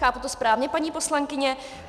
Chápu to správně, paní poslankyně?